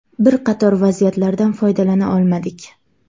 Bir qator vaziyatlardan foydalana olmadik.